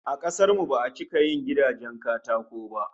A kasar mu ba'a cika yin gidajen katako ba